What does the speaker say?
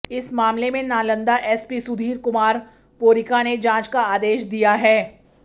इस मामले में नालंदा एसपी सुधीर कुमार पोरिका ने जांच का आदेश दिया है